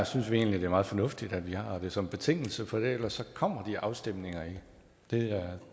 synes vi egentlig det er meget fornuftigt at vi har det som betingelse for ellers kommer de afstemninger ikke det